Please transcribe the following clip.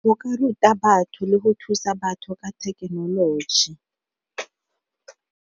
Go ka ruta batho le go thusa batho ka thekenoloji.